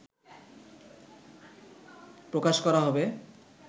প্রকাশ করা হবে